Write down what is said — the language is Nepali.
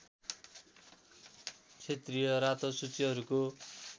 क्षेत्रीय रातो सूचीहरूको